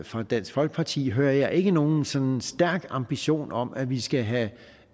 fra dansk folkeparti hører jeg ikke nogen sådan stærk ambition om at vi skal have